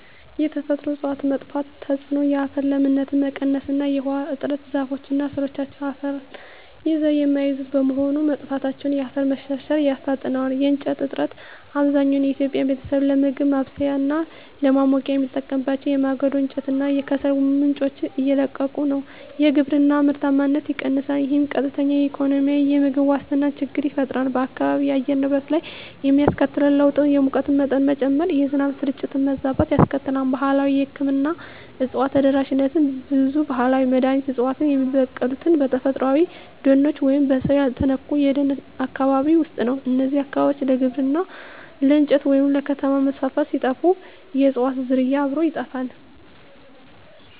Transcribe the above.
የተፈጥሮ እፅዋት መጥፋት ተጽዕኖ የአፈር ለምነት መቀነስ እና የውሃ እጥረ ዛፎች እና ሥሮቻቸው አፈርን ይዘው የሚይዙት በመሆኑ፣ መጥፋታቸው የአፈር መሸርሸርን ያፋጥነዋል። የእንጨት እጥረት፣ አብዛኛው የኢትዮጵያ ቤተሰብ ለምግብ ማብሰያ እና ለማሞቂያ የሚጠቀምባቸው የማገዶ እንጨት እና ከሰል ምንጮች እያለቁ ነው። የግብርና ምርታማነት ይቀንሳል፣ ይህም ቀጥተኛ የኢኮኖሚና የምግብ ዋስትና ችግር ይፈጥራል። በአካባቢው የአየር ንብረት ላይ የሚያስከትለው ለውጥ የሙቀት መጠን መጨመር፣ የዝናብ ስርጭት መዛባት ያስከትላል። ባህላዊ የሕክምና እፅዋት ተደራሽነት ብዙ ባህላዊ መድኃኒት ዕፅዋት የሚበቅሉት በተፈጥሮአዊ ደኖች ወይም በሰው ያልተነኩ የደን አካባቢዎች ውስጥ ነው። እነዚህ አካባቢዎች ለግብርና፣ ለእንጨት ወይም ለከተማ መስፋፋት ሲጠፉ፣ የእፅዋቱም ዝርያ አብሮ ይጠፋል።